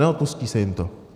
Neodpustí se jim to?